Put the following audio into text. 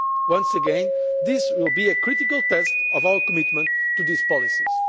level. Once again this will be a critical test of our commitment to these